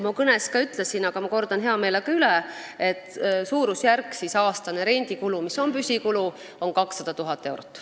Ma kõnes ka ütlesin, aga ma kordan heameelega üle: aastane rendikulu, mis on püsikulu, on suurusjärgus 200 000 eurot.